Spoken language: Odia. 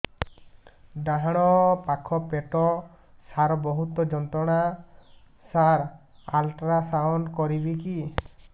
ଡାହାଣ ପାଖ ପେଟ ସାର ବହୁତ ଯନ୍ତ୍ରଣା ସାର ଅଲଟ୍ରାସାଉଣ୍ଡ କରିବି କି